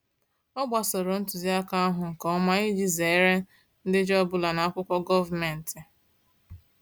Ọ gbasoro ntuziaka ahụ nke ọma iji zere ndejọ ọbụla n'akwụkwọ gọọmentị.